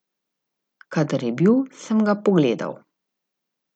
Kadar je bil, sem ga pogledal.